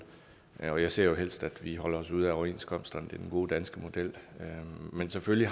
jeg ser helst at vi holder os ude af overenskomsterne det er den gode danske model men selvfølgelig